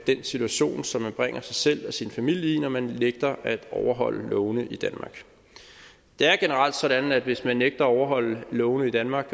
situation som man bringer sig selv og sin familie i når man nægter at overholde lovene i danmark det er generelt sådan at hvis man nægter at overholde lovene i danmark